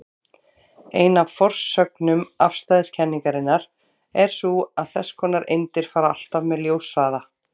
Ein af forsögnum afstæðiskenningarinnar er sú að þess konar eindir fara alltaf með ljóshraða.